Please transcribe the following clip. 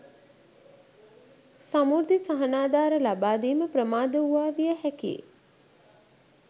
සමෘද්ධි සහනාධාර ලබා දීම ප්‍රමාද වූවා විය හැකියි